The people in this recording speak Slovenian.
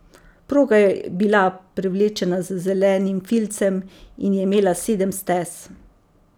Proga je bila prevlečena z zelenim filcem in je imela sedem stez.